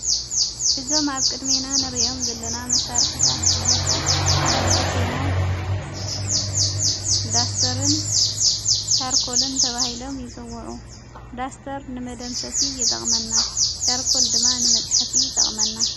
ብዞ ቅድሜናን ርዮም ዘለና መሣርሕታት ጽሕፈት ሹሞም ዳስተርን ሻርኮልን ተብሂሎም ይጽውዑ ዳስተር ንመደምሰሲ ይጠቕመና ጫርኮል ድማ ንመጽሕፊ ጠቕመና።